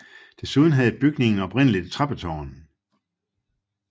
Desuden havde bygningen oprindeligt et trappetårn